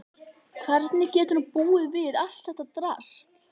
Hvernig getur hún búið við allt þetta drasl?